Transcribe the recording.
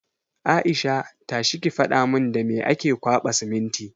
Aisha! tashi ki faɗa mun da me ake kwaɓa siminti!